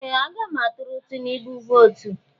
Ee! Aga m atụrụ Tinubu vootu.